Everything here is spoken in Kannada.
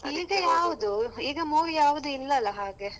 ಈಗ ಯಾವ್ದು ಈಗ movie ಯಾವ್ದು ಇಲ್ಲಲ್ಲ ಹಾಗೆ.